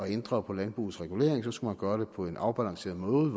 ændre på landbrugets regulering skulle man gøre det på en afbalanceret måde